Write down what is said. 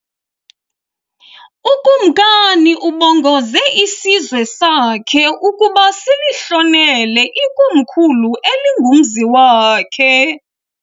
Ukumkani ubongoze isizwe sakhe ukuba silihlonele ikomkhulu elingumzi wakhe.